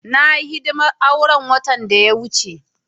Na yi hidimar auren watan da ya wuce.